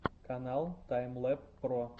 канал таймлэб про